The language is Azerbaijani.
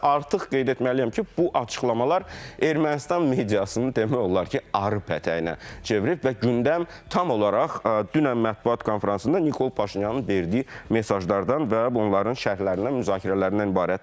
Və artıq qeyd etməliyəm ki, bu açıqlamalar Ermənistan mediasını demək olar ki, arı pətəyinə çevirib və gündəm tam olaraq dünən mətbuat konfransında Nikol Paşinyanın verdiyi mesajlardan və onların şərhlərindən, müzakirələrindən ibarətdir.